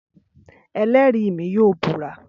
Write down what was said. Ẹlẹ́rìí mi yóò búra